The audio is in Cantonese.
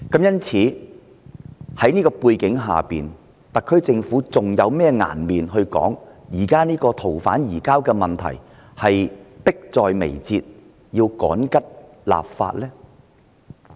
因此，在這樣的背景之下，特區政府還有甚麼顏面說，現時逃犯移交的問題迫在眉睫，要趕急修訂法例呢？